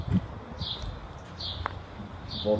Tudo bem, vamos lá.